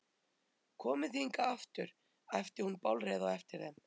Komið þið hingað aftur! æpti hún bálreið á eftir þeim.